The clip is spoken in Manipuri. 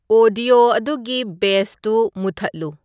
ꯑꯣꯗꯤꯑꯣ ꯑꯗꯨꯒꯤ ꯕꯦꯁꯇꯨ ꯃꯨꯊꯠꯂꯨ